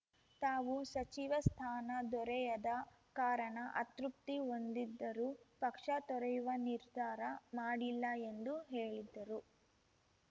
ತಾವು ಸಚಿವ ಸ್ಥಾನ ದೊರೆಯದ ಕಾರಣ ಅತೃಪ್ತಿ ಹೊಂದಿದ್ದರೂ ಪಕ್ಷ ತೊರೆಯುವ ನಿರ್ಧಾರ ಮಾಡಿಲ್ಲ ಎಂದು ಹೇಳಿದ್ದರು